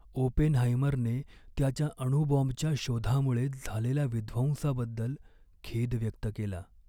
ओपेनहाइमरने त्याच्या अणुबॉम्बच्या शोधामुळे झालेल्या विध्वंसाबद्दल खेद व्यक्त केला.